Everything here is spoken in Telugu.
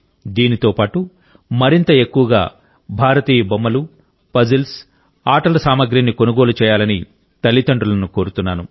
దీంతో పాటు మరింత ఎక్కువగా భారతీయ బొమ్మలు పజిల్స్ ఆటల సామగ్రిని కొనుగోలు చేయాలని తల్లిదండ్రులను కోరుతున్నాను